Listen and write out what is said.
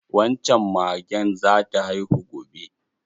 Wan can magen zata haihu gobe.